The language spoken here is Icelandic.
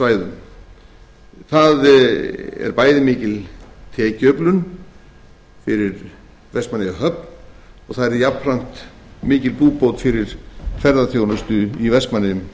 stórskipasvæðum það er bæði mikil tekjuöflun fyrir vestmannaeyjahöfn og það yrði jafnframt mikil búbót fyrir ferðaþjónustu í vestmannaeyjum